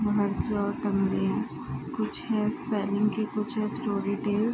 बाहर की ओर कमरे हैं। कुछ है स्पेलिंग की कुछ है